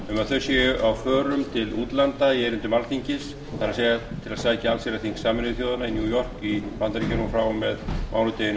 þau séu á förum til útlanda í erindum alþingis til að sækja allsherjarþing sameinuðu þjóðanna í new york í bandaríkjunum frá og með mánudeginum